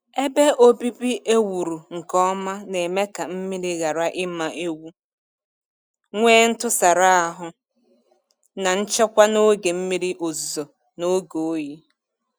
Ebe obibi ewuru nke ọma na-eme ka mmiri ghara ịma ewu, nwee ntụsara ahụ na nchekwa n'oge mmiri ozuzo na oge oyi.